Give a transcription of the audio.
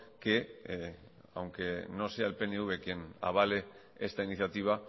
que aunque no sea el pnv quien avale esta iniciativa